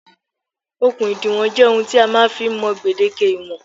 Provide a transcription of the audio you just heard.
Okùn ìdiwọ̀n jẹ́ ohun tí a máa ń fi ń mọ gbèdéke ìwọ̀n